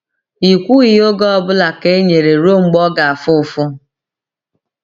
“I kwughị oge ọ bụla ka e nyere ruo mgbe ọ ga-afụ ụfụ.”